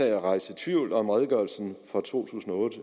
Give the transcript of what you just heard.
at rejse tvivl om redegørelsen fra to tusind og otte